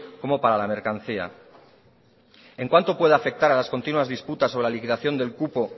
como para la mercancía en cuánto puede afectar a las continuas disputas sobre la liquidación del cupo